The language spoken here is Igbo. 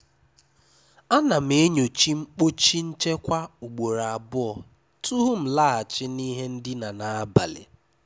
À ná m ènyòchá mkpọ́chí nchékwà ùgbòró àbụọ́ tupú m làghachì ná ìhé ndíná n’ábalì.